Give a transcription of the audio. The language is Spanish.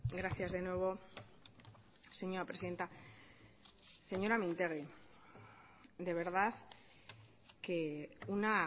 gracias de nuevo señora presidenta señora mintegi de verdad que una